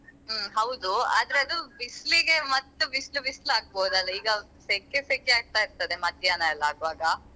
ಹ್ಮ್ ಹೌದು ಆದ್ರೆ ಅದು ಬಿಸ್ಲಿಗೆ ಮತ್ತ್ ಬಿಸ್ಲ್ ಬಿಸ್ಲ್ ಆಗ್ಬೋದಲ್ಲ ಈಗ ಸೆಖೆ ಸೆಖೆ ಆಗ್ತಾ ಇರ್ತದೆ ಮಧ್ಯಾಹ್ನ ಎಲ್ಲ ಆಗುವಾಗ.